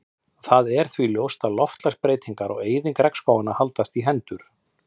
Það er því ljóst að loftslagsbreytingar og eyðing regnskóganna haldast í hendur.